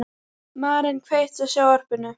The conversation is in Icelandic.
Maren, kveiktu á sjónvarpinu.